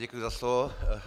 Děkuji za slovo.